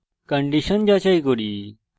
condition যাচাই করি